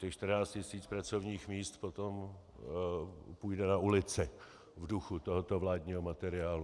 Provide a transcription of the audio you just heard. Těch 14 tisíc pracovních míst potom půjde na ulici v duchu tohoto vládního materiálu.